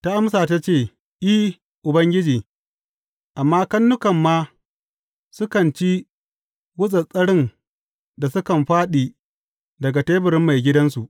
Ta amsa, ta ce, I, Ubangiji, amma karnuka ma sukan ci gutsattsarin da sukan fāɗi daga teburin maigidansu.